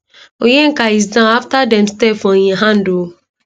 onyeka is down afta dem step for im hand ooo